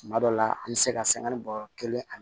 Tuma dɔw la an bɛ se ka sanga ni bɔɔrɔ kelen ani